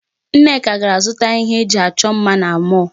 Nneka gara zụta ihe e ji achọ mma na mall.